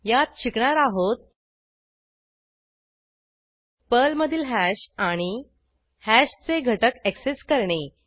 यात शिकणार आहोत पर्लमधील हॅश आणि हॅशचे घटक ऍक्सेस करणे